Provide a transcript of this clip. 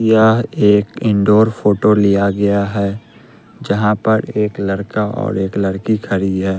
यहां एक indoor photo लिया गया है जहां पर एक लड़का और एक लड़की खड़ी है।